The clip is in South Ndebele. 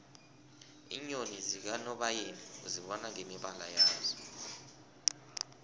iinyoni zakanobayeni uzibona ngemibala yazo